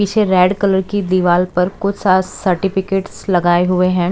पीछे red colour की दीवाल पर कुछ सा सर्टिफिकेटस लगाए हुए हैं।